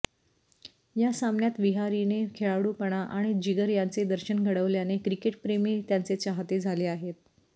या सामन्यात विहारीने खेळाडूपणा आणि जिगर यांचे दर्शन घडवल्याने क्रिकेटप्रेमी त्यांचे चाहते झाले आहेत